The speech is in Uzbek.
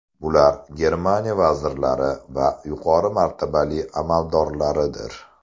Bular – Germaniya vazirlari va yuqori martabali amaldorlaridir.